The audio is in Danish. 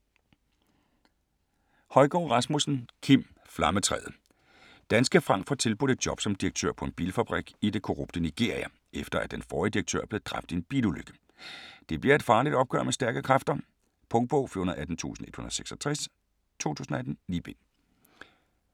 Højgaard Rasmussen, Kim: Flammetræet Danske Frank får tilbudt et job som direktør på en bilfabrik i det korrupte Nigeria, efter at den forrige direktør er blevet dræbt i en bilulykke. Det bliver et farligt opgør med stærke kræfter. Punktbog 418166 2018. 9 bind.